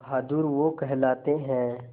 बहादुर वो कहलाते हैं